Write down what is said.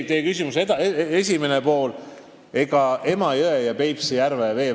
Teie küsimuse esimene pool oli Emajõe ja Peipsi järve kohta.